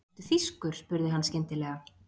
Ertu þýskur? spurði hann skyndilega.